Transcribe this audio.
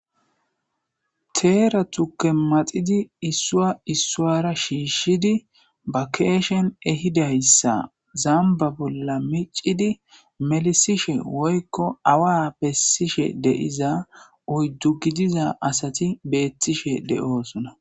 Teera tukke maxidi issuwa issuwara shiishshidi ba keeshen ehidayssa zamba bolla miccidi melisishe woy'ko awa bessishe deiza uyddu gidiza asati beettishe de'oosona